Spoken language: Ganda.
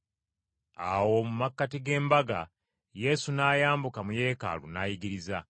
Awo mu makkati g’embaga Yesu n’ayambuka mu Yeekaalu n’ayigiriza.